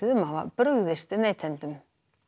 um að hafa brugðist neytendum